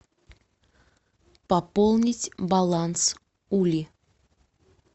пополнить баланс ули